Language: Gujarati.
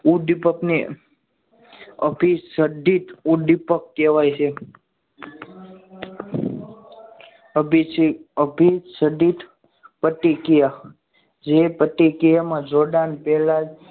ઉદ્દીપક ને અભિસંધિત ઉદ્દીપક કહેવાય છે અભિસંધિત પ્રતિક્રિયા જે પ્રતિક્રિયામાં જોડાણ પહેલા જ